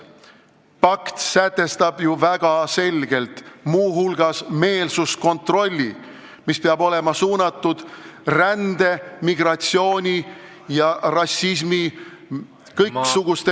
Pakt sätestab muu hulgas väga selgelt meelsuskontrolli, mis peab olema suunatud rändemigratsiooni ja rassismi, kõiksuguste ...